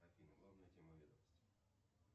афина главная тема ведомости